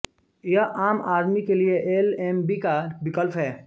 यह आम आदमी के लिए एल एम बी का विकल्प है